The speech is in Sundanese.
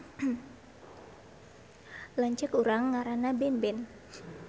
Lanceuk urang ngaranna Benben